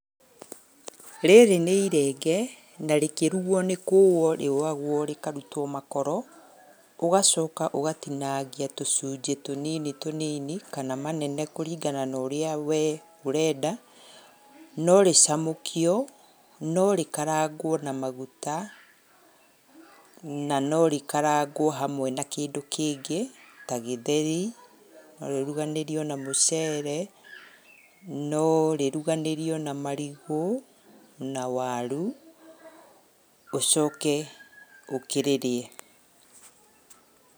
Rĩrĩ nĩ irenge na rĩkĩrugwo nĩ kũwo rĩũwagwo rĩkarutwo makoro, ũgacoka ũgatinangia tũcunjĩ tũnini tũnini kana manene kũringana na ũrĩa wee ũrenda, no rĩcamũkio, no rĩkarangwo na maguta, na no rĩkarangwo hamwe na kĩndũ kĩngĩ ta gĩtheri, no rĩruganĩrio na mũcere, no rĩruganĩrio na marigũ na waru, ũcoke ũkĩrĩrĩe.